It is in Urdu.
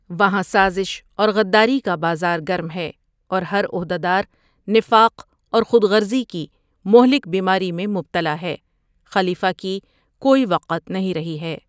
وہاں سازش اور غداری کا بازار گرم ہے اور ہر عہدہ دار نفاق اور خود غرضی کی مہلک بیماری میں مبتلا ہے خلیفہ کی کوئی وقت نہیں رہی ہے ۔